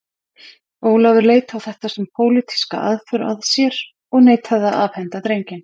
Ólafur leit á þetta sem pólitíska aðför að sér og neitaði að afhenda drenginn.